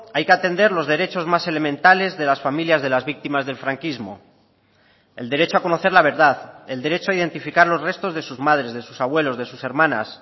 hay que atender los derechos más elementales de las familias de las víctimas del franquismo el derecho a conocer la verdad el derecho a identificar los restos de sus madres de sus abuelos de sus hermanas